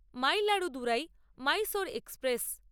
মাইলাড়ু Durai Mysore express